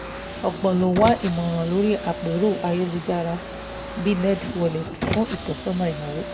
ọ̀pọ̀ ló ń wá ìmọ̀ràn lórí àpérò ayélujára bíi nerdwallet's fún ìtósọ́nà ináwó